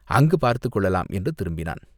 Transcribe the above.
அங்குப் பார்த்துக் கொள்ளலாம்!" என்று திரும்பினான்.